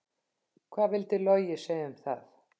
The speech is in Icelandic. Hvað vildi Logi segja um það?